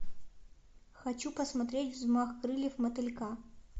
хочу посмотреть взмах крыльев мотылька